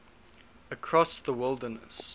across the wilderness